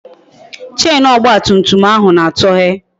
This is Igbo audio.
Chenu ọgba tum tum ahụ na-atọhe